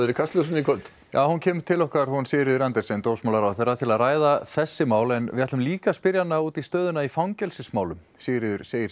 í Kastljósinu í kvöld já hún kemur til okkar hún Sigríður Andersen dómsmálaráðherra til að ræða þessi mál en við ætlum líka að spyrja hana út í stöðuna í fangelsismálum Sigríður segir